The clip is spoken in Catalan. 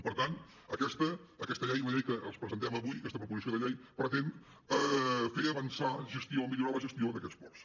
per tant aquesta llei la llei que els presentem avui aquesta proposició de llei pretén fer avançar millorar la gestió d’aquests ports